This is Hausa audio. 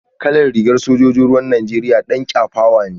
Kalar rigar sojojin ruwan Najeriya dan kyafawa ne